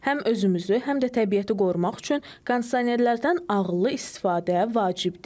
Həm özümüzü, həm də təbiəti qorumaq üçün kondisionerlərdən ağıllı istifadə vacibdir.